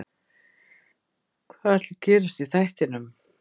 Hvað ætli gerist í þættinum?